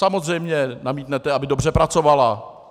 Samozřejmě namítnete, aby dobře pracovala.